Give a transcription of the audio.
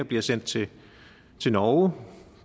bliver sendt til til norge